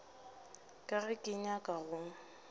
ka ga ke nyake go